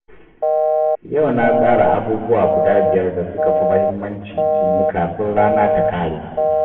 Yau na tsara abubuwa guda biyar da suka fi muhimmanci in yi kafin rana ta ƙare.